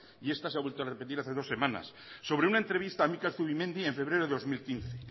y esta se ha vuelto a repetir hace dos semanas sobre una entrevista a mikel zubimendi en febrero de dos mil quince